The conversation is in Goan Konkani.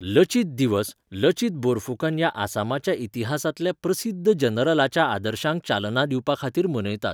'लचित दिवस' लचित बोरफुकन ह्या आसामाच्या इतिहासांतल्या प्रसिध्द जनरलाच्या आदर्शांक चालना दिवपा खातीर मनयतात.